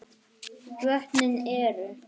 Vötnin eru